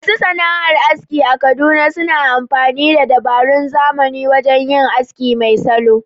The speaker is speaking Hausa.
Masu sana’ar aski a Kaduna suna amfani da dabarun zamani wajen yin aski mai salo.